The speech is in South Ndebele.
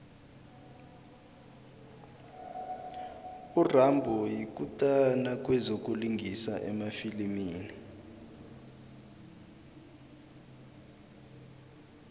urambo yikutani kwezokulingisa emafilimini